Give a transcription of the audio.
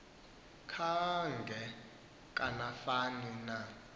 kanga kanani na